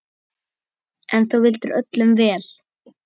En þú vildir öllum vel.